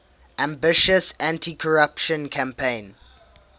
ambitious anticorruption campaign